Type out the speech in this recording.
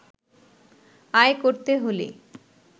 আয় করতে হলে